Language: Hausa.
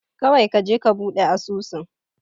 Kawai kaje ka buɗe asusun.